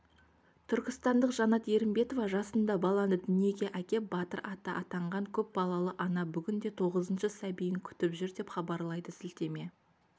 түркістандық жанат ерімбетова жасында баланы дүниеге әкеп батыр ата атанған көп балалы ана бүгінде тоғызыншы сәбиін күтіп жүр деп хабарлайды сілтеме